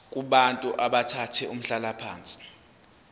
kubantu abathathe umhlalaphansi